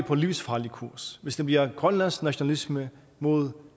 på livsfarlig kurs hvis det bliver grønlandsk nationalisme mod